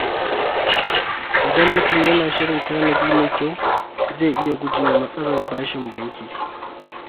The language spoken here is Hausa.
Idan mutum yana da shirin tanadi mai kyau, zai iya guje wa matsalar bashin banki.